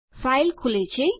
file ખુલે છે